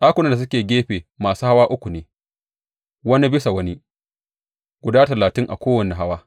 Ɗakunan da suke gefe masu hawa uku ne, wani bisa wani, guda talatin a kowane hawa.